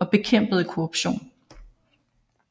og bekæmpede korruption